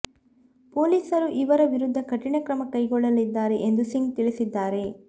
ಪೊಲೀಸರು ಇವರ ವಿರುದ್ಧ ಕಠಿಣ ಕ್ರಮ ಕೈಗೊಳ್ಳಲಿದ್ದಾರೆ ಎಂದು ಸಿಂಗ್ ತಿಳಿಸಿದ್ದಾರೆ